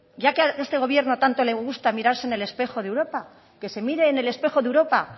ya que a este gobierno tanto le gusta mirarse en el espejo de europa que se mire en el espejo de europa